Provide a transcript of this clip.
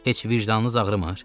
Heç vicdanınız ağrımır?